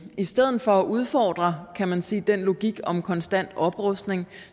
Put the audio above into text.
i stedet for at udfordre kan man sige den logik om konstant oprustning